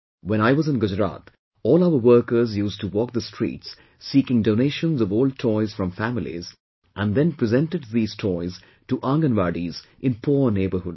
When I was in Gujarat, all our workers used to walk the streets seeking donations of old toys from families and then presented these toys to Anganwadis in poor neighbourhoods